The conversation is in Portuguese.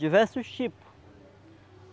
Diversos tipos.